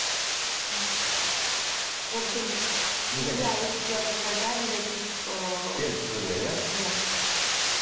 ұятың қайда негатив ыыы теріс пікірлер иә иә